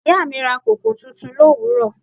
Ìyá mi ra koko tuntun l'òwúrò.